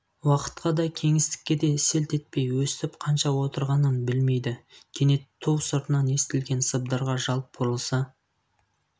уақытқа да кеңістікке селт етпей өстіп қанша отырғанын білмейді кенет ту сыртынан естілген сыбдырға жалт бұрылса